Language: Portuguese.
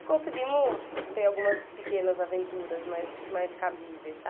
E conseguimos ter algumas pequenas aventuras mais mais cabíveis,